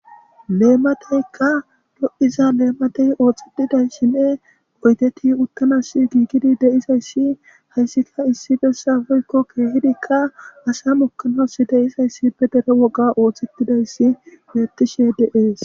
leemateykka do7iza leematey ooxetidayssinne oyteti uttanas giigidi de7izayssi hayssika issi bessa woykko keehidikka asa mukanas de7izayssi be dere woga oothtetidayssi beettishe de7ees